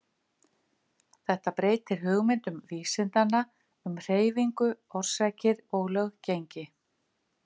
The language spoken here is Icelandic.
Þetta breytir hugmyndum vísindanna um hreyfingu, orsakir og löggengi.